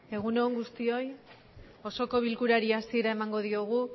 egun on guztioi osoko bilkurari hasiera emango diogu